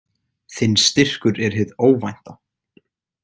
Þinn styrkur er hið óvænta.